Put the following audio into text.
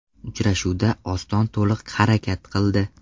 Uchrashuvda Oston to‘liq harakat qildi.